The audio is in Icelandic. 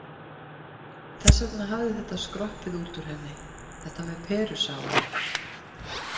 Þess vegna hafði þetta skroppið út úr henni, þetta með perusafann.